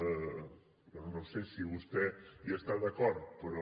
bé no ho sé si vostè hi està d’acord però